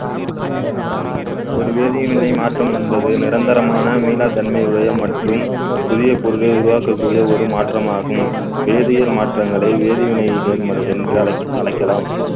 ஒரு வேதிய நிலை மாற்றம் என்பது நிரந்தரமான மீளாதன்மை உடைய மற்றும் புதிய பொருளை உருவாக்கக் கூடிய ஒரு மாற்றமாகும் வேதியியல் மாற்றங்களை வேதிவினைகள் என்று அழைக்~ அழைக்கலாம்